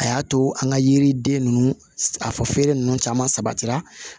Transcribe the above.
A y'a to an ka yiriden ninnu a fɔ feere ninnu caman sabatira